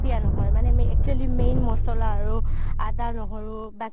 নহয় actually main মচলা আৰু আদা নহৰু